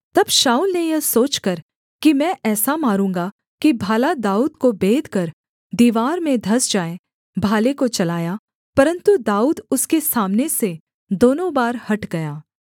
तब शाऊल ने यह सोचकर कि मैं ऐसा मारूँगा कि भाला दाऊद को बेधकर दीवार में धँस जाए भाले को चलाया परन्तु दाऊद उसके सामने से दोनों बार हट गया